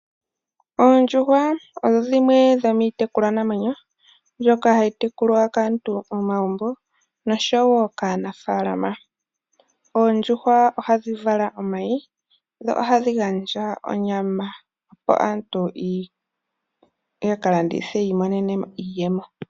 Oondjuhwa odho dhimwe dho miitekulwanamwenyo mbyoka hayi tekulwa kaantu momagumbo nosho woo kaanafaalama. Oondjuhwa ohadhi vala omayi ohadhi gandja woo onyama. Opo aantu ya kalandithe yi imonene mo iiyemo.